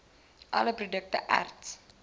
all produkte erts